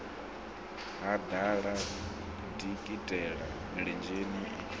ha ḓala dikitela milenzhe i